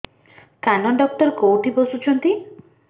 କାନ ଡକ୍ଟର କୋଉଠି ବସୁଛନ୍ତି